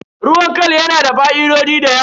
Ruwan khal yana da fa'idoji da yawa.